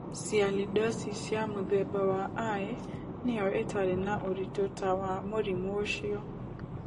Sialidosis ya mũthemba wa I nĩyo ĩtarĩ na ũritũ ta wa mũrimũ ũcio.